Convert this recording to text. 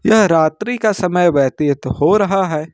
यह रात्रि का समय व्यतीत हो रहा है।